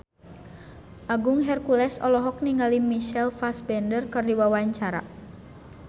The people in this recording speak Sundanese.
Agung Hercules olohok ningali Michael Fassbender keur diwawancara